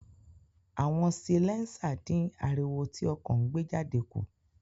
Awọn silẹnsa din ariwo ti ọkọ ńgbejade ku.